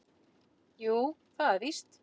"""Jú, það er víst."""